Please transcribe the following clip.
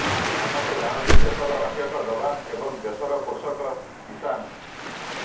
ସମସ୍ତେ ଜାଣନ୍ତି ଦେଶର ରକ୍ଷକ ଜବାନ ଏବଂ ଦେଶର ପୋଷକ କିଷାନ୍